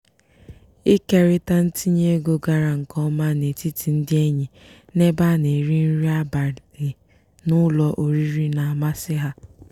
ikerita ntinyeego gara nke ọma n'etiti ndị enyi n'ebe a na-eri nri abalị n'ụlọ oriri na-amasị ha.